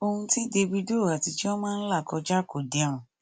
ohun tí davido àti chioma ń là kọjá kò dẹrùn